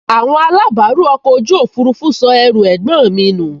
Àwọn alábàárù ọkọ̀ ojú òfurufú sọ ẹrù ẹ̀gbọ́n mi nù